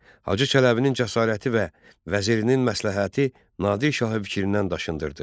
Hacı Çələbinin cəsarəti və vəzirinin məsləhəti Nadir şahı fikrindən daşındırdı.